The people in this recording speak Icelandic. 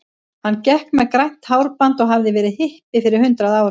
Hann gekk með grænt hárband og hafði verið hippi fyrir hundrað árum.